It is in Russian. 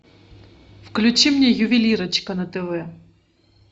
включи мне ювелирочка на тв